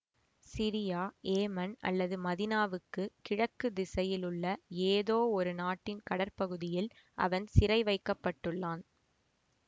Syria Yemen அல்லது மதினாவுக்கு கிழக்கு திசையில் உள்ள ஏதோவொரு நாட்டின் கடற்பகுதியில் அவன் சிறை வைக்கப்பட்டுள்ளான்